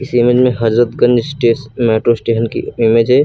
Image में Hazratganj station metro station की image है।